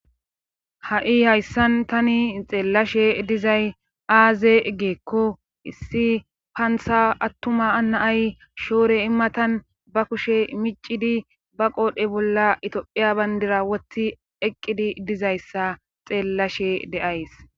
Ha'i hayssan tani xeellashe dizay aaze egeekko issi paantha attuma anaay shoore immatan ba kushe micidi ba qoodhe bolla itophiya bayndira wotti eqqidi dizayssa xeellashe de'ays.